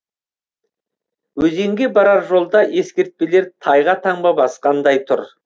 өзенге барар жолда ескертпелер тайға таңба басқандай тұр